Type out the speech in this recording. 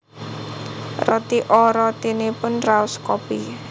Roti O rotinipun raos kopi